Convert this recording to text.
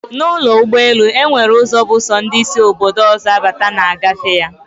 Na ụlọ ụgbọ elu, enwere ụzọ bụ sọ ndị sị Obodo ọzọ abata na-agafe ya